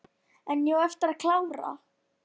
En ég á eftir að klára.